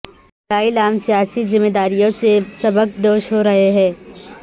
دلائی لامہ سیاسی ذمہ داریوں سے سبکدوش ہورہے ہیں